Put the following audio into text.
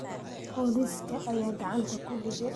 Booliska ayaa gacanta ku dhigay